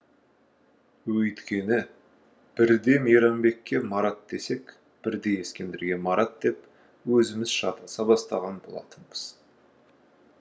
өйткені бірде мейрамбекке марат десек бірде ескендірге марат деп өзіміз шатаса бастаған болатынбыз